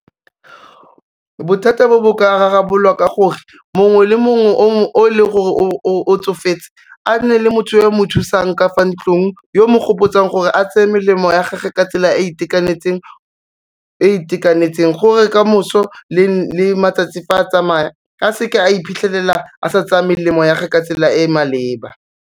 Bothata bo, bo ka rarabololwa ka gore mongwe le mongwe o leng gore o tsofetse a nne le motho yo o mo thusang ka fa ntlong yo mo gopotsang gore a tseye melemo ya gage ka tsela e itekanetseng gore kamoso le matsatsi fa a tsamaya, a seke a iphitlhelela a sa tsaya melemo ya gage ka tsela e e maleba.